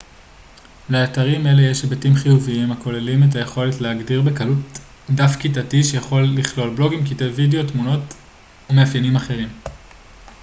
לאתרים אלה יש היבטים חיוביים הכוללים את היכולת להגדיר בקלות דף כיתתי שיכול לכלול בלוגים קטעי וידאו תמונות ומאפיינים אחרים